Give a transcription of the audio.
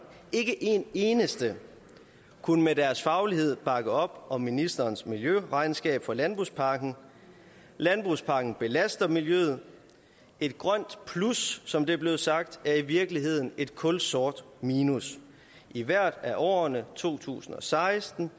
ikke en eneste kunne med deres faglighed bakke op om ministerens miljøregnskab for landbrugspakken landbrugspakken belaster miljøet et grønt plus som det er blevet sagt er i virkeligheden et kulsort minus i hvert af årene to tusind og seksten